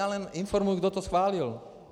Já jen informuji, kdo to schválil.